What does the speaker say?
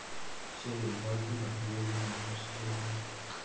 Séð yfir torgið frá Hliði hins himneska friðar.